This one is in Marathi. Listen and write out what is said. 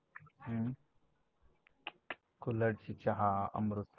हम्म कुल्हड़ची चहा अमृत